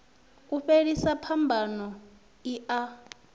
u fhelisa phambano i a